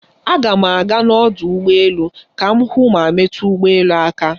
Aga m aga n'ọdụ ụgbọ elu ka m hụ ma metu ụgbọ elu aka.